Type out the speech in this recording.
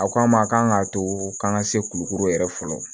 A ko an ma kan k'a to an ka se kulukoro yɛrɛ fɔlɔ